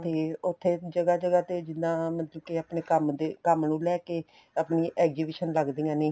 ਤੇ ਉੱਥੇ ਜਗ੍ਹਾ ਜਗ੍ਹਾ ਤੇ ਜਿੱਦਾਂ ਮਤਲਬ ਕੇ ਆਪਣੇ ਕੰਮ ਦੇ ਕੰਮ ਨੂੰ ਲੈਕੇ ਆਪਣੀ exhibition ਲੱਗਦੀਆਂ ਨੇ